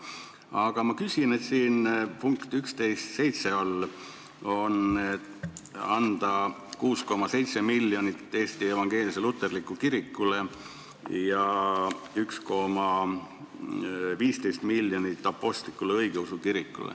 Aga siin punkt 11.7 all on kirjas, et anda 6,7 miljonit Eesti Evangeelsele Luterlikule Kirikule ja 1,15 miljonit Eesti Apostlik-Õigeusu Kirikule.